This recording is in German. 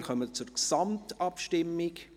Wir kommen zur Gesamtabstimmung.